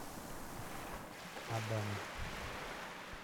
адана